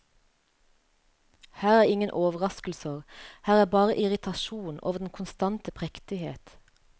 Her er ingen overraskelser, her er bare irritasjon over den konstante prektighet.